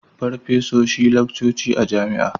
Farfesoshi laccoci a jami'a